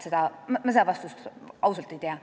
Seda vastust ma ausalt ei tea.